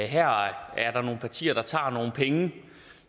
her er der nogle partier der tager nogle penge